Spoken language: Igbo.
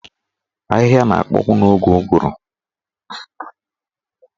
Ahịhịa na-akpọnwu n'oge ụgụrụ.